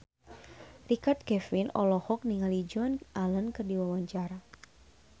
Richard Kevin olohok ningali Joan Allen keur diwawancara